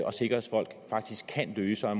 og sikkerhedsfolk faktisk kan løse og